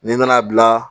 N'i nana bila